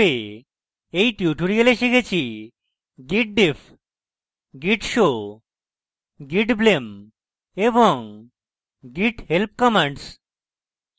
in tutorial আমরা শিখেছি